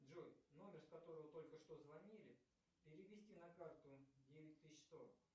джой номер с которого только что звонили перевести на карту девять тысяч сто